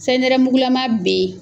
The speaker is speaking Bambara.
Sayi nɛrɛmugulama bɛ yen.